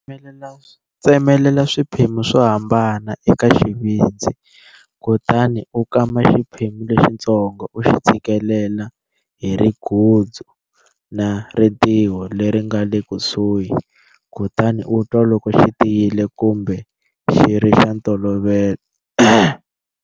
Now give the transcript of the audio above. Tsemelela swiphemu swo hambana eka xivindzi kutani u kama xiphemu lexitsongo u xi tshikilela hi rigudzu na ritiho leri nga le kusuhi, kutani u twa loko xi tiyile kumbe xi ri xa ntolovelo.